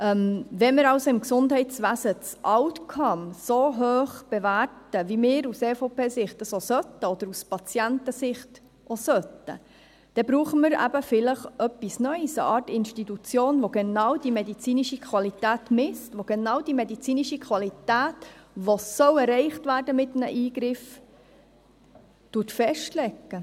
Wenn wir also im Gesundheitswesen den Outcome so hoch bewerten, wie wir dies aus EVP-Sicht oder auch aus Patientensicht tun sollten, dann brauchen wir vielleicht etwas Neues, eine Art Institution, welche genau die medizinische Qualität misst, die genau die medizinische Qualität, welche mit einem Eingriff erreicht werden soll, festlegt.